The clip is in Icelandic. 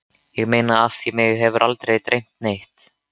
Ég meina af því mig hefur aldrei dreymt neitt.